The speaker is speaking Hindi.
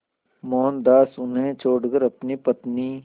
मोहनदास उन्हें छोड़कर अपनी पत्नी